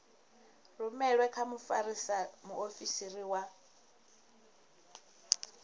rumelwe kha mfarisa muofisiri wa